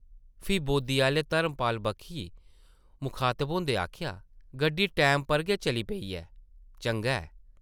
फ्ही बोद्दी आह्ले धर्मपाल बक्खी मुखातब होंदे आखेआ,‘‘गड्डी टैमे पर गै चली पेई ऐ; चंगा ऐ ।’’